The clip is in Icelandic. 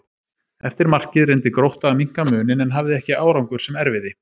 Eftir markið reyndi Grótta að minnka muninn en hafði ekki árangur sem erfiði.